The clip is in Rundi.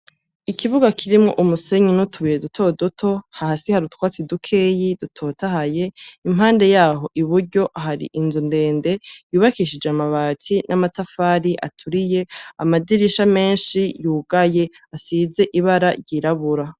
Ikibuga kirimwo umusenyi n'utubuye duto duto, hasi hari utwatsi dukeyi dutotahaye, impande yaho iburyo, hari inzu ndende yubakishije amabati n'amatafari aturiye, amadirisha menshi yugaye, asize ibara ryirabura.